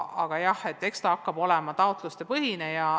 Aga jah, eks see rahastamine hakka olema taotlusepõhine.